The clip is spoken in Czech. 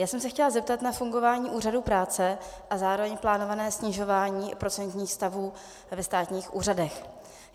Já jsem se chtěla zeptat na fungování Úřadu práce a zároveň plánované snižování procentních stavů ve státních úřadech.